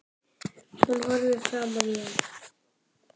Nú horfir hún framan í hann.